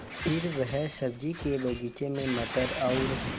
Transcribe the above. फिर वह सब्ज़ी के बगीचे में मटर और